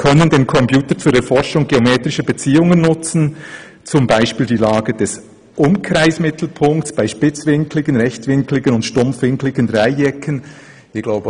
] können den Computer zur Erforschung geometrischer Beziehungen nutzen, zum Beispiel die Lage des Umkreismittelpunkts bei spitzwinkligen, rechtwinkligen und stumpfwinkligen Dreiecken […]».